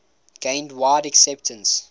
gained wide acceptance